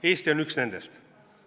Eesti on üks nendest.